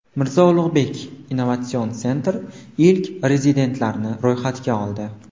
Mirzo Ulugbek Innovation Center ilk rezidentlarni ro‘yxatga oldi.